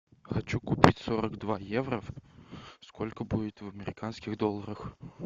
хочу купить сорок два евро сколько будет в американских долларах